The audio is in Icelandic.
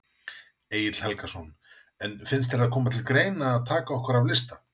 Egill Helgason: En finnst þér það koma til grein að taka okkur af lista?